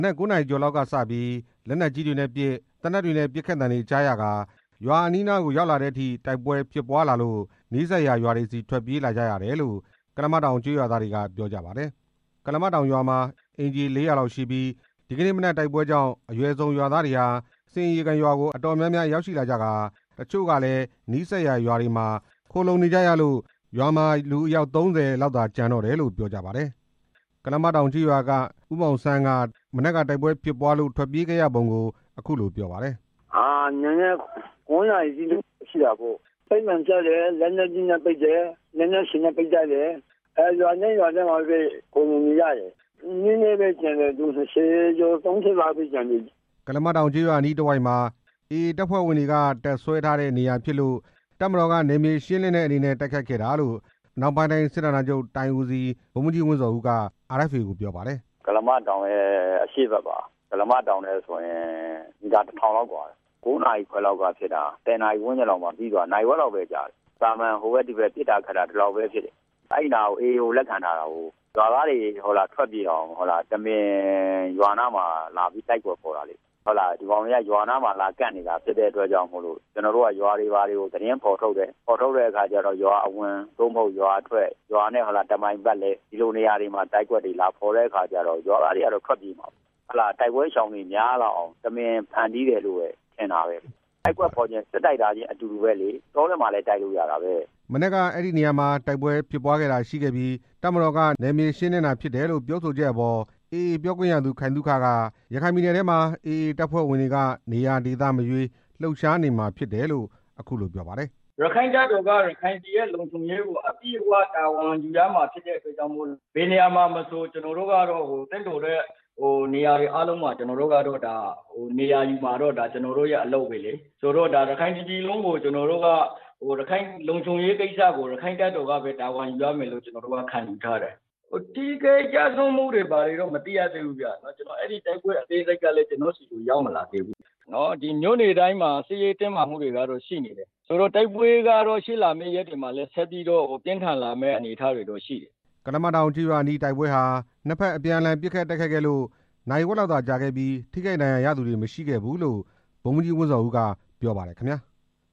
နက် ၉ နာရီကျော်လောက်ကစပြီး လက်နက်ကြီးတွေနဲ့ပစ် သေနတ်တွေနဲ့ပစ်ခတ်သံတွေကြားရပြီး ရွာအနီးနား ရောက်တဲ့အထိ တိုက်ပွဲဖြစ်ပွားနေလို့ နီးစပ်ရာရွာတွေဆီ ထွက်ပြေးလာကြရတယ်လို့ ကုလားမတောင်ရွာသားတွေက ပြောကြပါတယ်။ ကုလားမတောင်ရွာမှာ အိမ်ခြေ ၄၀၀ လောက်ရှိပြီး ဒီကနေ့မနက် တိုက်ပွဲကြောင့် အရွယ်စုံရွာသားတွေဟာ ဆင်ရေကန်ရွာကို အတော်များများရောက်လာကြကာ တချို့လည်း နီးစပ်ရာကျေးရွာတွေဆီ ထွက်ပြေးနေကြရလို့ ရွာမှာ လူ အယောက် ၃၀ လောက်သာ ကျန်တော့တယ်လို့ ပြောကြပါတယ်။ ကုလားမတောင်ကျေးရွာက ဦးမောင်ဆန်းက တိုက်ပွဲဖြစ်ပွားလို့ ထွက်ပြေးခဲ့ရပုံကို အခုလို ပြောပါတယ်။ "နံနက် ၉ နာရီအချိန်လောက်ပေါ့၊ လက်နက်ကြီးနဲ့ပစ်တယ် လက်နက်ငယ်တွေနဲ့ ပစ်သံတွေကြားရတယ် ရွာတိုင်းရွာတိုင်းမှာပဲ ခိုလှုံနေကြတယ် လူနည်းနည်းပဲ ကျန်တယ် ၂၀ ကျော် ၃၀ လောက်ပဲ ကျန်တယ်" ကုလားမတောင်ကျေးရွာအနီးတစ်ဝိုက်မှာ AA တပ်ဖွဲ့ဝင်တွေ တပ်စွဲထားတဲ့နေရာဖြစ်လို့ တပ်မတော်က နယ်မြေ ရှင်းလင်းတဲ့အနေနဲ့ တိုက်ခိုက်ခဲ့တာလို့ အနောက်ပိုင်းတိုင်း စစ်ဌာနချုပ် တိုင်းဦးစီး ဗိုလ်မှူးကြီး ဝင်းဇော်ဦး က RFA ကို ပြောပါတယ်။ တိုက်ပွဲရှောင်တွေ များလာအောင်လို့ တမင်တိုက်ကွက်လာဖော်တယ်လို့ပဲ ထင်တယ် "ကုလားမတောင်ရဲ့အရှေ့ဘက် မီတာ ၁၀၀၀ လောက် ကွာတယ် ၉ နာရီခွဲလောက်မှာဖြစ်တာ ၁၀ နာရီဝန်းကျင် လောက်မှာ ပြီးသွားတယ် နာရီဝက်လောက်ပဲကြာတယ် သာမန် ဟိုဘက်ဒီဘက်ပစ်တာ ခတ်တာလောက်ပဲ အဲဒီနား AA ကို လက်ခံထားတာကိုး ရွာသားတွေထွက်ပြေးအောင် တမင် ရွာနားမှာ တိုက်ကွက်ဖော်တာပေါ့ ဒီကောင်တွေက ရွာနားမှာလာကပ်နေတဲ့အတွက်ကြောင့်မို့လို့ ကျွန်တော်တို့က ရွာတွေဘာတွေကို သတင်းဖော်ထုတ်တယ် ဖော်ထုတ်တဲ့အခါကျတော့ ရွာအဝင် ရွာအထွက် ရွာနဲ့တစ်မိုင်ပတ်လည် ဒီလိုနေရာတွေမှာ တိုက်ကွက်လာဖော်တဲ့အခါကျတော့ တိုက်ပွဲရှောင်တွေ များလာအောင်လို့ တမင်တိုက်ကွက်လာဖော်တယ်လို့ပဲ ထင်တယ် တိုက်ကွက်ဖော်တာချင်းအတူတူ စစ် တိုက်တာပဲလေ တောထဲမှာလည်း လာတိုက်လို့ရတာပဲ’’ မနက်က အဲဒီနေရာမှာ တိုက်ပွဲဖြစ်ပွားတာရှိခဲ့ပြီး တပ်မတော်က နယ်မြေရှင်းလင်းတာဖြစ်တယ်လို့ ပြောဆိုချက် အပေါ် AA ပြောခွင့်ရသူ ခိုင်သုခက ရခိုင်ပြည်နယ်ထဲမှာ AA တပ်ဖွဲ့ဝင်တွေက နေရာဒေသမရွေး လှုပ်ရှားနေမှာ ဖြစ်တယ်လို့ ပြောပါတယ်။ "ရက္ခိုင့်တပ်တော်က ရခိုင်ပြည်ရဲ့လုံခြုံရေးကို အပြည့်အဝ တာဝန် ယူရမှာဖြစ်လို့ ဘယ်နေရာမှာမဆို သင့်တော်တဲ့နေရာတွေမှာ ကျွန်တော်တို့က နေရာယူမှာပဲလေ ရခိုင်တစ်ပြည်လုံးကို ရက္ခိုင့် တပ်တော်က တာဝန်ယူရမယ်လို့ ခံယူထားတယ်လေ ထိခိုက် ကျဆုံးမှုကတော့ အသေးစိတ်မသိရသေးဘူး တိုက်ပွဲသတင်း အပြည့်အစုံ ကျွန်တော့်ဆီမရောက်လာသေးဘူး မြို့နယ်တိုင်းမှာ တော့ စစ်ရေးတင်းမာမှုက တော့ ရှိနေဦးမှာပဲ တိုက်ပွဲကတော့ ရှေ့လာမယ့်ရက်တွေမှာ ပြင်းထန်လာနေဦးမှာပဲ" ကုလားမတောင်ကျေးရွာအနီး တိုက်ပွဲဟာ နှစ်ဘက်အပြန်အလှန် ပစ်ခတ်တိုက်ခိုက်ခဲ့လို့ နာရီဝက်လောက်သာကြာခဲ့ပြီး ထိခိုက်ဒဏ်ရာ ရသူတွေ မရှိခဲ့ဘူးလို့ ဗိုလ်မှူးကြီး ဝင်းဇော်ဦး က ပြောပါတယ် ခင်ဗျာ။